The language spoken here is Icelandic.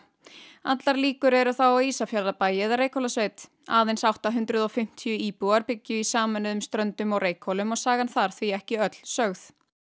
allar líkur eru þá á Ísafjarðarbæ eða Reykhólasveit aðeins átta hundruð og fimmtíu íbúar byggju í sameinuðum Ströndum og Reykhólum og sagan þar því ekki öll sögð